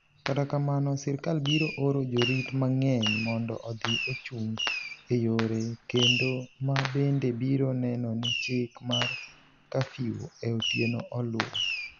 Kata kamano, sirkal biro oro jorit mang’eny mondo odhi ochung’ e yore kendo ma bende biro neno ni chik mar kafiu e otieno oluwo.